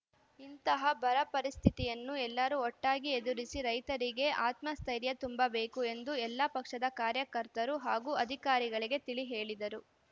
ಇಂತಹ ಬರಪರಿಸ್ಥಿತಿಯನ್ನು ಎಲ್ಲರೂ ಒಟ್ಟಾಗಿ ಎದುರಿಸಿ ರೈತರಿಗೆ ಆತ್ಮಸ್ಥೈರ್ಯ ತುಂಬಬೇಕು ಎಂದು ಎಲ್ಲಾ ಪಕ್ಷದ ಕಾರ್ಯಕರ್ತರು ಹಾಗೂ ಅಧಿಕಾರಿಗಳಿಗೆ ತಿಳಿ ಹೇಳಿದರು